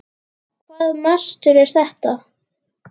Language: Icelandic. Hvaða mastur er þetta?